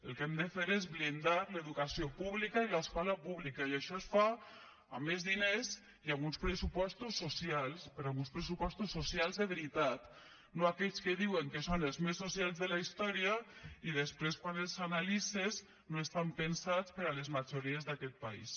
el que hem de fer és blindar l’educació pública i l’escola pública i això es fa amb més diners i amb uns pressupostos socials però amb uns pressupostos socials de veritat no aquells que diuen que són els més socials de la història i després quan els analitzes no estan pensats per a les majories d’aquest país